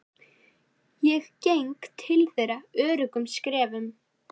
Og ég geng til þeirra öruggum skrefum.